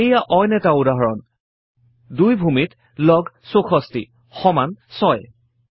এইয়া অইন এটা উদাহৰণ 2 ভূমিত লগ 64 সমান 6